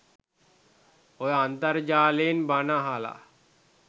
ඔය අන්තර්ජාලයෙන් බණ අහලා